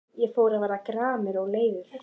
Ég fór að verða gramur og leiður.